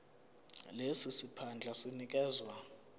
lesi siphandla sinikezwa